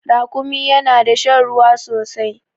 Rakumi yana da shan ruwa sosai